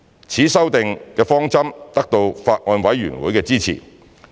此修訂方針得到法案委員會的支持。